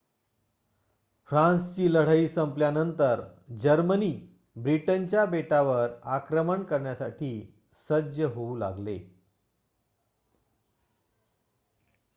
फ्रान्सची लढाई संपल्यानंतर जर्मनी ब्रिटनच्या बेटावर आक्रमण करण्यासाठी सज्ज होऊ लागले